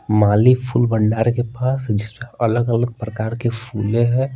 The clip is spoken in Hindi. माली फूल भंडार के पास जिसमें अलग-अलग प्रकार के फूले हैं।